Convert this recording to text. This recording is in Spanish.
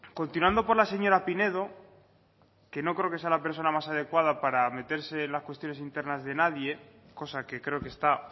continuando por la señora pinedo que no creo que sea la persona más adecuada para meterse en las cuestiones internas de nadie cosa que creo que está